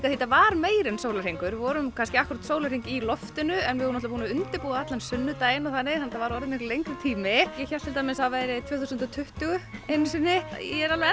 því þetta var meira en sólarhringur við vorum kannski akkúrat sólarhring í loftinu en við vorum búin að undirbúa allan sunnudaginn þannig þetta var orðið miklu lengri tími ég hélt til dæmis að það væri tvö þúsund og tuttugu einu sinni ég er alveg